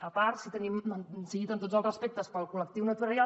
a part sigui dit amb tots els respectes pel col·lectiu notarial